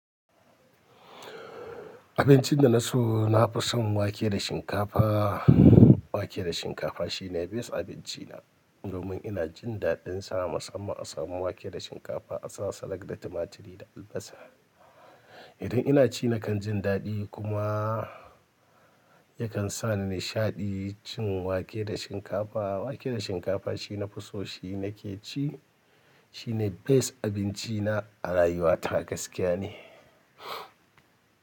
Abincin da na so, na fi son wake da shinkafa. Wake da shinkafa shine best abinci na, domin ina jin daɗin sa. Musamman a samu wake da shinkafa, a sa salak da tumaturi da albasa. Idan ina ci nakan jin daɗi kuma yakan sa ni nishaɗi cin wake da shinkafa. Wake da shinkafa shi na fi so, shi nake ci. Shine best abinci na a rayuwa ta gaskiya ne.